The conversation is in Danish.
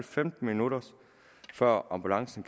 femten minutter før ambulancen